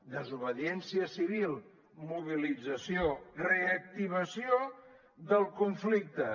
desobediència civil mobilització reactivació del conflicte